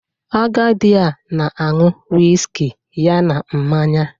Agadi a na-añu whiskey ya na mmanya